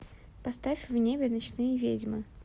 поставь в небе ночные ведьмы